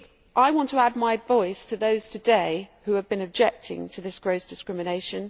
I want to add my voice to those today who have been objecting to this gross discrimination.